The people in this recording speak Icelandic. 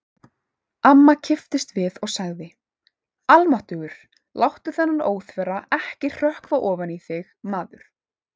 Amma kipptist við og sagði: Almáttugur, láttu þennan óþverra ekki hrökkva ofan í þig, maður